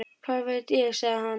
Hvað veit ég? sagði hann.